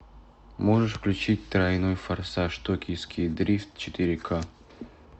можешь включить тройной форсаж токийский дрифт четыре ка